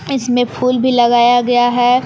इसमें फूल भी लगाया गया है।